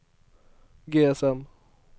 GSM